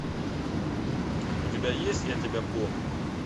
у тебя есть я тебя помню